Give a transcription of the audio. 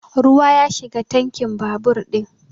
Ruwa ya shiga tankin babur ɗin